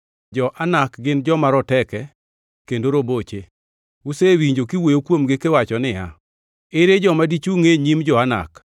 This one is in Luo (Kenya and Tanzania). Jo-Anak gin joma roteke kendo roboche! Usewinjo kiwuoyo kuomgi kiwacho niya, “Ere joma dichungʼ e nyim jo-Anak?”